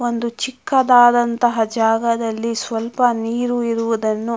ಒಂದು ಚಿಕ್ಕದಾದಂತಹ ಜಾಗದಲ್ಲಿ ಸ್ವಲ್ಪ ನೀರು ಇರುವುದನ್ನು--